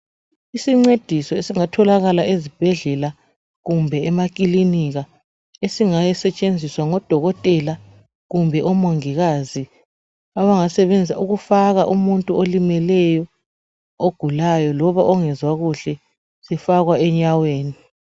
isincediso esingatholakala ezibhedlela kumbe emakilinika eingasetshenziswa ngo dokotela kumbe omongikazi abangakusebenzisa ukufaka umuntu olimeleyo ogulayo loba ongezwa kuhle sifakwa enyaweni